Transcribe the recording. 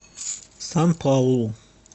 сан паулу